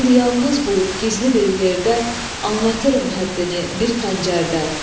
Şimdi yalnız bulub gizli bir yerdə anlatırım həddini bir xəncərdə.